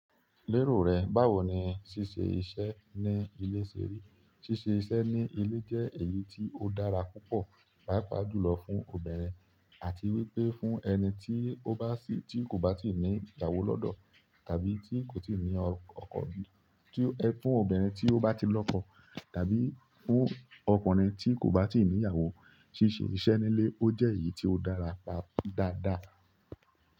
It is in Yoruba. Lérò rẹ̀, báwo ni ṣíṣe iṣẹ́ ní ilé ṣe rí? Ṣíṣe iṣẹ́ ní ilé jẹ́ èyí tí ó dára púpọ̀, pàápàá jùlọ fún obìnrin àti wípé fún ẹni tí ó bá sì tí kò bá tíì ní ìyàwó lọ́dọ̀ àbí tí kò tíì ní ọkọ̀ bí, tí o-- ẹ fún obìnrin tí ó bá ti lọ́kọ̀ tàbí fún ọkùnrin tí kò bá tíì ní'yàwó. Ṣíṣe iṣẹ́ ní ilé ó jẹ́ èyí tí ó dára pap-- dáadáa.